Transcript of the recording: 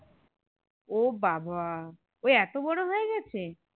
ও বাবা ও এত বরো হয়ে গেছে